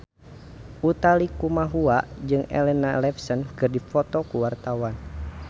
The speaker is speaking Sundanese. Utha Likumahua jeung Elena Levon keur dipoto ku wartawan